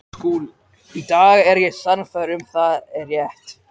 Í dag er ég sannfærð um að það er rétt.